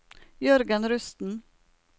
Jørgen Rusten